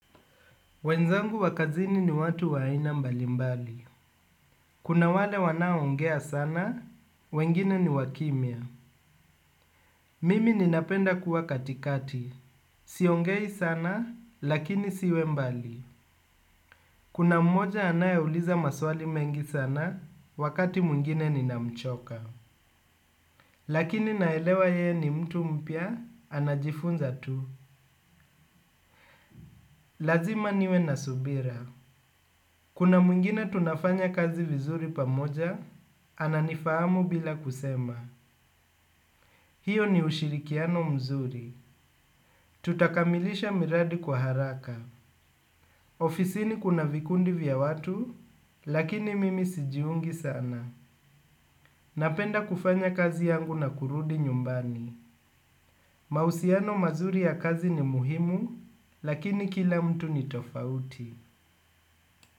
Wenzangu wa kazini ni watu wa aina mbali mbali. Kuna wale wanaongea sana, wengine ni wakimya. Mimi ninapenda kuwa katikati. Siongei sana, lakini siwe mbali. Kuna mmoja anayeuliza maswali mengi sana, wakati mwingine ninamchoka. Lakini naelewa ye ni mtu mpya, anajifunza tu. Lazima niwe nasubira. Kuna mwingine tunafanya kazi vizuri pamoja, ananifahamu bila kusema. Hiyo ni ushirikiano mzuri. Tutakamilisha miradi kwa haraka. Ofisini kuna vikundi vya watu. Lakini mimi sijiungi sana. Napenda kufanya kazi yangu na kurudi nyumbani. Mausiano mazuri ya kazi ni muhimu. Lakini kila mtu ni tofauti.